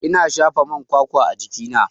Ina shafa man kwakwa a jikina.